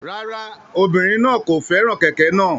Rárá, obirin naa kò fẹ́ràn kẹ̀kẹ́ náà.